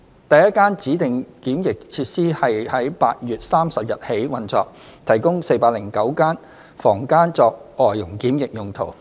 第一間指定檢疫設施於8月30日起運作，提供409間房間作外傭檢疫用途。